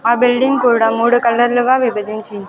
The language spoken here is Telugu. ఆ బిల్డింగ్ కూడా మూడు కలర్లుగా విభజించి.